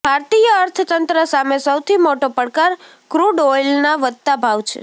ભારતીય અર્થતંત્ર સામે સૌથી મોટો પડકાર ક્રૂડ ઓઇલના વધતા ભાવ છે